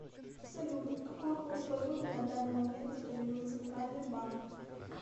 салют какой курс валюты на данный момент установил центральный банк